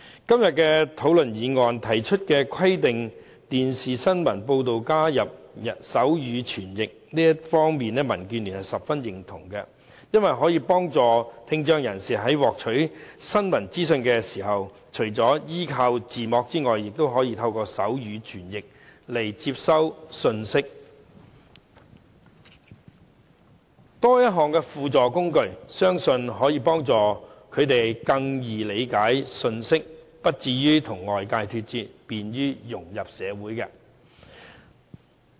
今天討論的議案，提出規定電視新聞報道加入手語傳譯，這方面民建聯十分認同，因為可以幫助聽障人士在獲取新聞資訊時，除了依賴字幕外，也可以透過手語傳譯來接收信息，多一項輔助工具，相信可以幫助他們更容易理解信息，不至於與外界脫節，便於融入社會。